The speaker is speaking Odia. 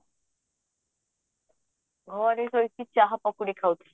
ଘରେ ସୋଇକି ଚାହା ପକୁଡି ଖାଉଛି